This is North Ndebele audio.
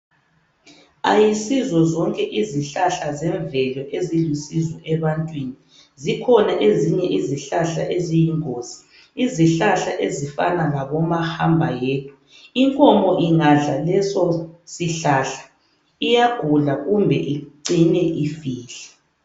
Ayisizo zonke izihlahla zemvelo ezilusizo ebantwini. Zikhona ezinye izihlahla eziyingozi. Izihlahla ezifana labomahamba yedwa. Inkomo ingadla leso sihlahla iyagula kumbe icine ifile.